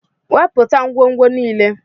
Wepụta ngwongwo niile!